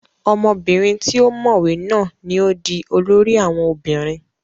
ọmọbìnrin tí ó mọ̀wé náà ni ó di olórí àwọn obìnrin